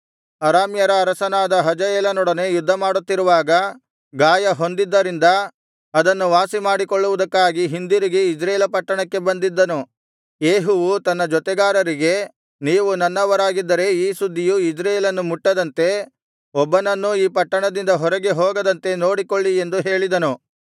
ಅರಸನಾದ ಯೋರಾಮನು ಅರಾಮ್ಯರ ಅರಸನಾದ ಹಜಾಯೇಲನೊಡನೆ ಯುದ್ಧಮಾಡುತ್ತಿರುವಾಗ ಗಾಯ ಹೊಂದಿದ್ದರಿಂದ ಅದನ್ನು ವಾಸಿಮಾಡಿಕೊಳ್ಳುವುದಕ್ಕಾಗಿ ಹಿಂದಿರುಗಿ ಇಜ್ರೇಲ ಪಟ್ಟಣಕ್ಕೆ ಬಂದಿದ್ದನು ಯೇಹುವು ತನ್ನ ಜೊತೆಗಾರರಿಗೆ ನೀವು ನನ್ನವರಾಗಿದ್ದರೆ ಈ ಸುದ್ದಿಯು ಇಜ್ರೇಲನ್ನು ಮುಟ್ಟದಂತೆ ಒಬ್ಬನನ್ನೂ ಈ ಪಟ್ಟಣದಿಂದ ಹೊರಗೆ ಹೋಗದಂತೆ ನೋಡಿಕೊಳ್ಳಿ ಎಂದು ಹೇಳಿದನು